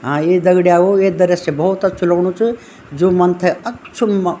हाँ ए दगड़ियाओ ये दरश्य भौत अच्छू लगणू च जो मन थे अच्छो म।